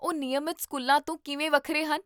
ਉਹ ਨਿਯਮਤ ਸਕੂਲਾਂ ਤੋਂ ਕਿਵੇਂ ਵੱਖਰੇ ਹਨ?